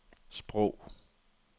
sprog